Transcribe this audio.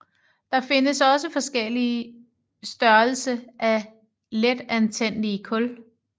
Der findes også forskellige størrelse af letantændelige kul